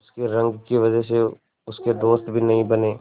उसकी रंग की वजह से उसके दोस्त भी नहीं बने